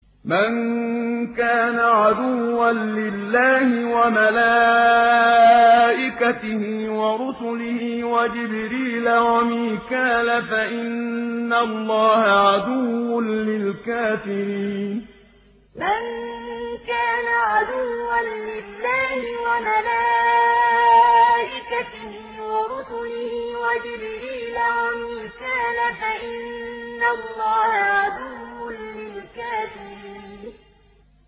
مَن كَانَ عَدُوًّا لِّلَّهِ وَمَلَائِكَتِهِ وَرُسُلِهِ وَجِبْرِيلَ وَمِيكَالَ فَإِنَّ اللَّهَ عَدُوٌّ لِّلْكَافِرِينَ مَن كَانَ عَدُوًّا لِّلَّهِ وَمَلَائِكَتِهِ وَرُسُلِهِ وَجِبْرِيلَ وَمِيكَالَ فَإِنَّ اللَّهَ عَدُوٌّ لِّلْكَافِرِينَ